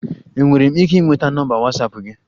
Enwere m ike ịnweta nọmba Watsapụ gị?